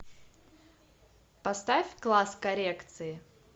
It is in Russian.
поставь класс коррекции